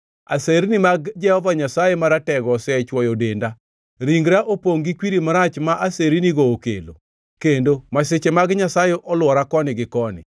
Aserni mag Jehova Nyasaye Maratego osechwoyo denda, ringra opongʼ gi kwiri marach ma asernigo okelo; kendo masiche mag Nyasaye olwora koni gi koni.